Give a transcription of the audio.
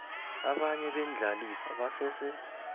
abanye beendlalifa basese